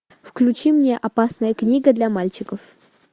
включи мне опасная книга для мальчиков